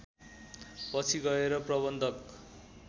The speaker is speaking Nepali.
पछि गएर प्रबन्धक